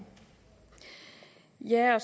her og